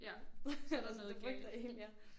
Ja så der noget galt